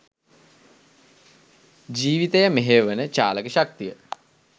ජීවිතය මෙහෙයවන චාලක ශක්තිය